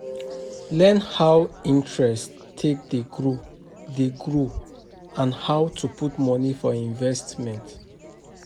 Learn how interest take dey grow dey grow and how to put money for investment